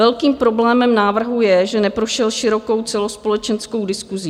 Velkým problémem návrhu je, že neprošel širokou celospolečenskou diskusí.